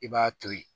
I b'a to ye